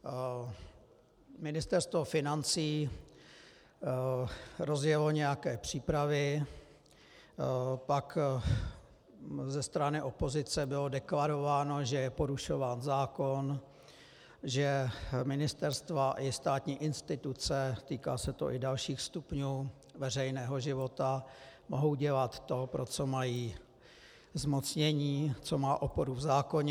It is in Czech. Ministerstvo financí rozjelo nějaké přípravy, pak ze strany opozice bylo deklarováno, že je porušován zákon, že ministerstva i státní instituce, týká se to i dalších stupňů veřejného života, mohou dělat to, pro co mají zmocnění, co má oporu v zákoně.